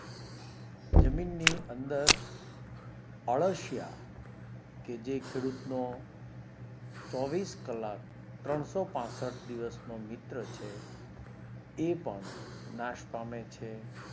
જમીન ની અંદર અળસિયા કે જે ખેડૂત નો ચોવીસ કલ્લાક ત્રણસો પાંસઠ દિવસ નો મિત્ર છે એ પણ નાશ પામે છે